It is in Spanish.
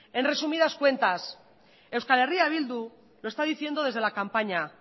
en resumidas cuentas eh bildu lo está diciendo desde la campaña